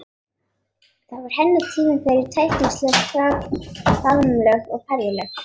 Það var hennar tími fyrir tætingsleg faðmlög og ferðalög.